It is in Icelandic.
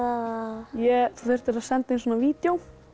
ég þurfti að senda inn vídeó